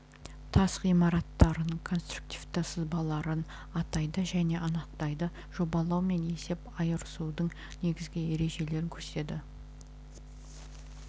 тас ғимараттарының конструктивті сызбаларын атайды және анықтайды жобалау мен есеп айырысудың негізгі ережелерін көрсетеді